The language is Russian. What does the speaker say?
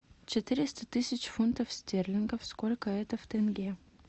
четыреста тысяч фунтов стерлингов сколько это в тенге